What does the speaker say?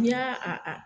N'i y'a a a